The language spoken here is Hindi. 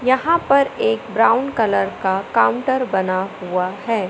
यहां पर एक ब्राउन कलर का काउंटर बना हुआ है।